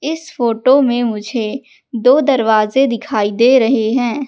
इस फोटो मे मुझे दो दरवाजे दिखाई दे रहे है।